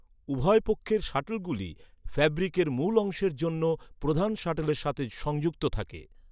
উভয় পক্ষের শাটলগুলি ফ্যাব্রিকের মূল অংশের জন্য প্রধান শাটলের সাথে সংযুক্ত থাকে।